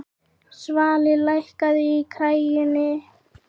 Svali, lækkaðu í græjunum.